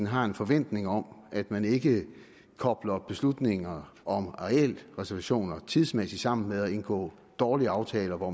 har en forventning om at man ikke kobler beslutningerne om arealreservationer tidsmæssigt sammen med at man indgår dårlige aftaler hvor